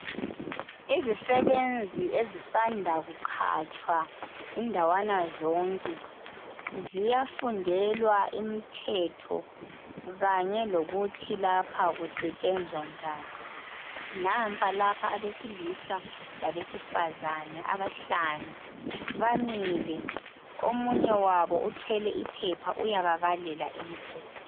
Izisebenzi ezisanda kuqhatshwa indawana zonke ziyafundelwa imithetho kanye lokuthi lapha kusetshenzwa njani, nampa lapha abesilisa labesifazane abahlanu bamile omunye wabo uthwele iphepha uyababalela imithetho.